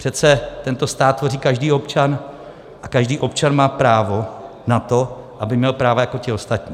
Přece tento stát tvoří každý občan a každý občan má právo na to, aby měl práva jako ti ostatní.